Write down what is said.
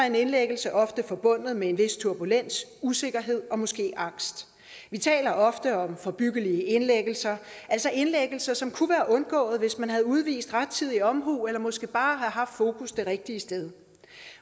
en indlæggelse ofte forbundet med en vis turbulens usikkerhed og måske angst vi taler ofte om forebyggelige indlæggelser altså indlæggelser som kunne være undgået hvis man havde udvist rettidig omhu eller måske bare havde haft fokus det rigtige sted